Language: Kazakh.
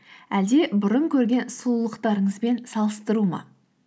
әлде бұрын көрген сұлулықтарыңызбен салыстыру ма